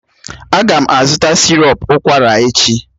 Aga m azụta sịrọp ụkwara echi